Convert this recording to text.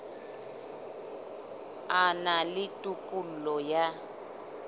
a na le tokelo ya